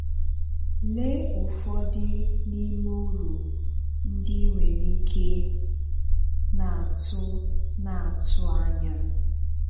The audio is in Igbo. Lee ụfọdụ n’ime ùrù ndị ị nwere ike na-atụ na-atụ ànyà: